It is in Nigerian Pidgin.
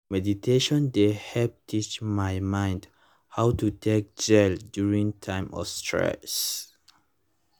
meditation dey help teach my mind how to take gel during time of stress